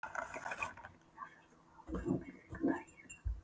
Hermína, ferð þú með okkur á miðvikudaginn?